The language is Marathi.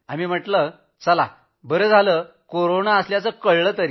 आम्ही म्हटलं चला चांगलं आहे की कोरोना असल्याचं कळलं तरी